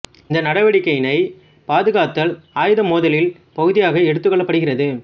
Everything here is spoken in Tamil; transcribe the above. இந்த நடவடிக்கையினை பாதுகாத்தல் ஆயுத மோதலில் பகுதியாக எடுத்து கொள்ளப்படுகிறது